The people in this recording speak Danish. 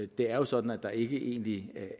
det er sådan at der ikke egentlig